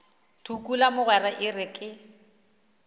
tukula mogwera e re ke